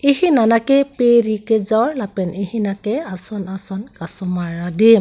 ehin anat ke peri kejor lapen ehin nat ke ason ason kasemar adim.